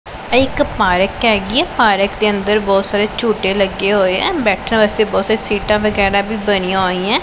ਇਹ ਇੱਕ ਪਾਰਕ ਹੈਗੀ ਹੈ ਪਾਰਕ ਦੇ ਅੰਦਰ ਬਹੁਤ ਸਾਰੇ ਝੂੱਠੇ ਲੱਗੇ ਹੋਈਆਂ ਬੈਠਣ ਵਾਸਤੇ ਬਹੁਤ ਸਾਰੀ ਸੀਟਾਂ ਵਗੈਰਾ ਵੀ ਬਣਿਆ ਹੋਈਆਂ ਹੈਂ।